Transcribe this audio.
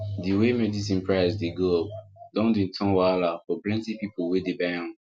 di way medicine price dey go up don dey turn wahala for plenty people wey dey buy am